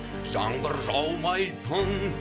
жаңбыр жаумайтын